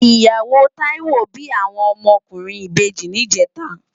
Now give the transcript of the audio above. Iyáwó Taiwo bi áwòn òmò òkúrin ibèji nijètá